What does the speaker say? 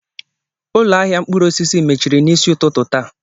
Ụlọ ahịa mkpụrụ osisi mechiri n'isi ụtụtụ taa.